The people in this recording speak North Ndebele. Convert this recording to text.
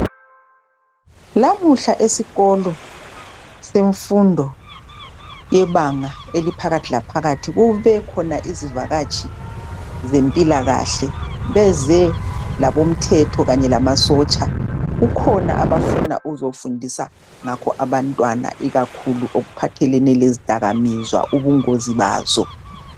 Lamuhla esikolo semfundo yebanga eliphakathi laphakathi kubekhona izivakatshi zempilakahle, bezelabomthetho kanye lamasotsha kukhona abafuna ukuzofundisa ngakho abantwana ikakhulu okuphathelene lezidakamizwa, ubungozi bazo.